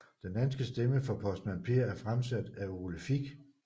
Den danske stemme for Postmand Per er fremsat af Ole Fick